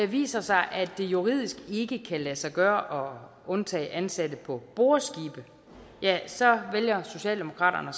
viser sig at det juridisk ikke kan lade sig gøre at undtage ansatte på boreskibe ja så vælger socialdemokratiet